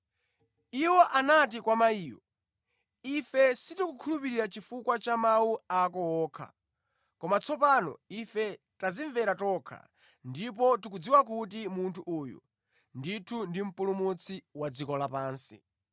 Iwo anati kwa mayiyo, “Ife sitikukhulupirira chifukwa cha mawu ako okha, koma tsopano ife tadzimvera tokha, ndipo tikudziwa kuti munthu uyu ndithu ndi Mpulumutsi wa dziko lapansi.”